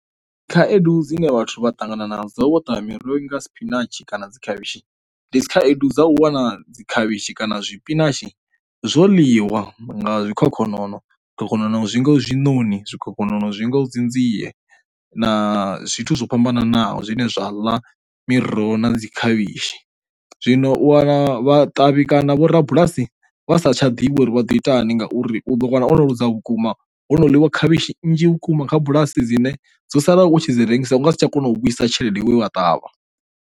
Khaedu dzine vhathu vha ṱangana na dzo vho ṱavha miroho ri nga spinatshi kana dzi khavhishi ndi khaedu dza u wana dzi khavhishi kana zwi spinatshi zwo ḽiwa nga zwikhokhonono. Zwikhokhonono zwingaho zwinoni zwikhokhonono zwinga u dzi nzie na zwithu zwo fhambananaho zwine zwa ḽa miroho na dzi khavhishi, Zwino u wana vhaṱavhi kana vho rabulasi vha sa tsha divhi uri vhado itani ngauri u ḓo wana o no luza vhukuma ho no ḽiwa khavhishi nnzhi vhukuma kha bulasi dzine dzo sala u tshi dzi rengisa u nga si tsha kona u vhuisa tshelede yawu vha ṱavha.